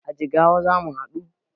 A Jigawa zamu haɗu